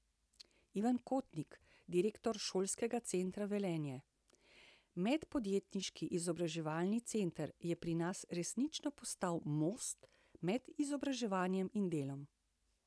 Ivan Kotnik, direktor Šolskega centra Velenje: 'Medpodjetniški izobraževalni center je pri nas resnično postal most med izobraževanjem in delom.